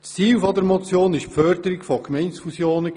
Das Ziel der Motion war die Förderung von Gemeindefusionen.